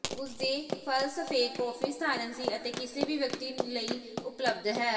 ਉਸ ਦੇ ਫ਼ਲਸਫ਼ੇ ਕਾਫ਼ੀ ਸਧਾਰਨ ਸੀ ਅਤੇ ਕਿਸੇ ਵੀ ਵਿਅਕਤੀ ਨੂੰ ਲਈ ਉਪਲਬਧ ਹੈ